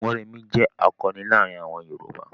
Mórèmí jẹ́ àkọni láàárin àwọn Yorùbá.